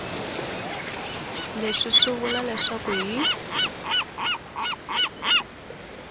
leswi swi vula leswaku hi